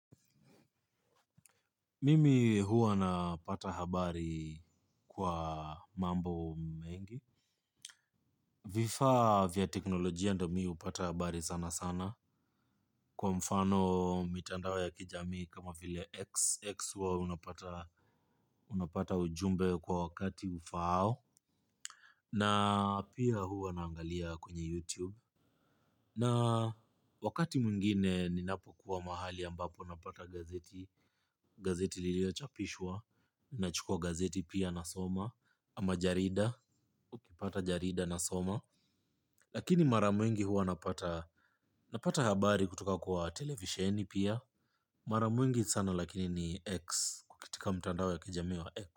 Mimi huwa napata habari kwa mambo mengi. Vifaavya teknolojia ndio mimi hupata habari sana sana. Kwa mfano mitandao ya kijamii kama vile X. X huwa unapata ujumbe kwa wakati ufaao. Na pia huwa naangalia kwenye YouTube. Na wakati mwingine ninapo kuwa mahali ambapo napata gazeti. Gazeti lilio chapishwa. Nachukua gazeti pia nasoma majarida, nikipata jarida nasoma. Lakini mara mingi huwa napata habari kutoka kwa televisheni pia. Mara mingi sana lakini ni X katika mtandao wa kijamii wa X.